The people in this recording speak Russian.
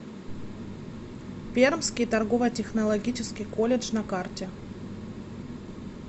пермский торгово технологический колледж на карте